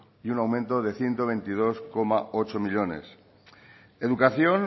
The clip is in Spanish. y un aumento de ciento veintidós coma ocho millónes educación